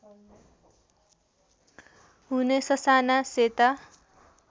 हुने ससाना सेता